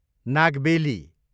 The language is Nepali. नागबेली